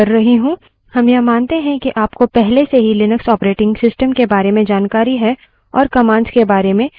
हम यह मानते हैं कि आपको पहले से ही लिनक्स operating system के बारे में जानकारी है और commands के बारे में कुछ बुनियादी जानकारी है